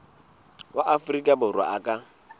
wa afrika borwa a ka